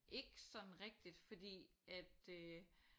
Ikke sådan rigtigt fordi at øh